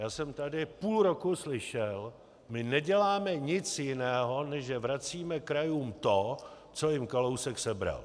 Já jsem tady půl roku slyšel: my neděláme nic jiného než že vracíme krajům to, co jim Kalousek sebral.